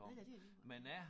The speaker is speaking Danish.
Nej nej det er lige meget